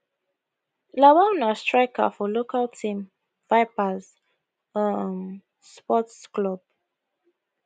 lawal na striker for local team vipers um sports club